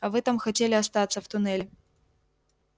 а вы там хотели остаться в туннеле